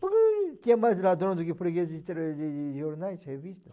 Porque tinha mais ladrão do que preguiça de trazer jornais revistas.